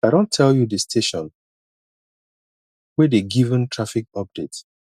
i don tell you di station wey dey given traffic update